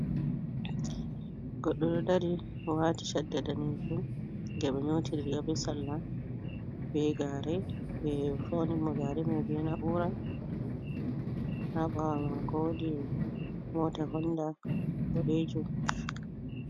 Goɗɗo ɗo ɗari wati shaɗɗa ɗanejum je ɓe nyoti riga ɓe salla ɓe gare, ɓe fauni mo gare mai ɓe na'ura haɓawa mako woɗi mota honɗa ɓoɗejum.